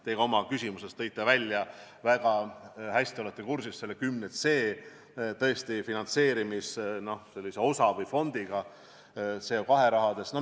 Te oma küsimuses tõite välja ja te olete väga hästi kursis 10c finantseerimisfondiga, CO2 rahaga.